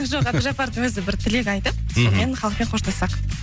жоқ әбдіжаппардың өзі бір тілек айтып мхм сонымен халықпен қоштассақ